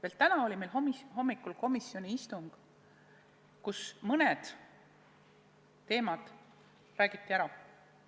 Alles täna hommikul oli komisjoni istung, kus mõned teemad räägiti selgemaks.